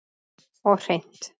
Og hreint.